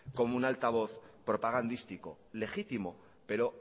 como un altavoz propagandístico legítimo pero